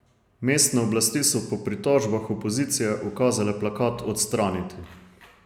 Mestne oblasti so po pritožbah opozicije ukazale plakat odstraniti.